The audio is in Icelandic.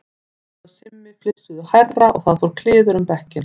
Lúlli og Simmi flissuðu hærra og það fór kliður um bekkinn.